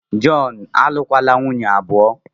Jọn, alụkwala nwunye abụọ!